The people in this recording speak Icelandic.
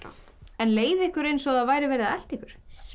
en leið ykkur eins og væri verið að elta ykkur